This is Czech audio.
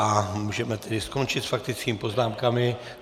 A můžeme tedy skončit s faktickými poznámkami.